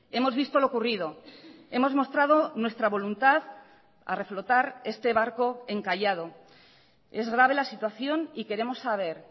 hemos visto lo ocurrido hemos mostrado nuestra voluntad a reflotar este barco encallado es grave la situación y queremos saber